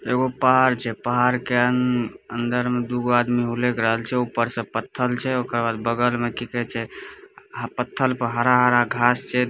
एगो पहाड़ छे पहाड़ के अ-न-न-अन्दर में दू गो आदमी हुलक रहल छे उपर सब पत्थर छे ओका बगल में किके छे आ पत्थर पर हरा-हरा घास छे।